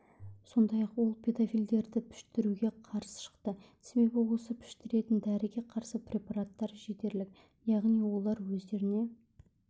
сондай-ақ ол педофилдерді піштіруге қарсы шықты себебі осы піштіретін дәріге қарсы препараттар жетерлік яғни олар өздеріне